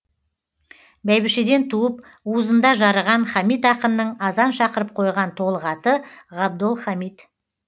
бәйбішеден туып уызында жарыған хамит ақынның азан шақырып қойған толық аты ғабдолхамит